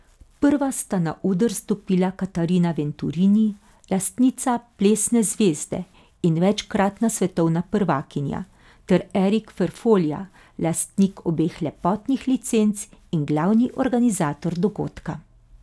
Prva sta na oder stopila Katarina Venturini, lastnica Plesne zvezde in večkratna svetovna prvakinja, ter Erik Ferfolja, lastnik obeh lepotnih licenc in glavni organizator dogodka.